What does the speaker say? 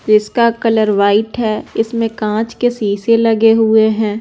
इसका colour white है इसमें कांच के शीशे लगे हुए हैं।